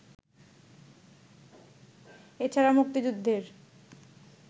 এছাড়া মুক্তিযুদ্ধের